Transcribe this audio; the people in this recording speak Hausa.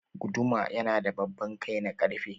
Guduma yana da babban kai na ƙarfe.